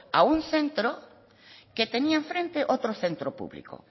a un centro que tenía en frente otro centro público